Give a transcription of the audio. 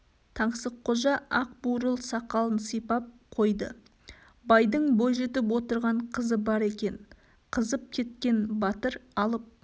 таңсыққожа ақ бурыл сақалын сипап қойды байдың бойжетіп отырған қызы бар екен қызып кеткен батыр алып